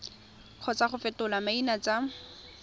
kgotsa go fetola maina tsa